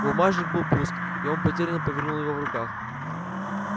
бумажник был пуст и он потерянно повернул его в руках